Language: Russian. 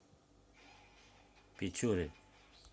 печоре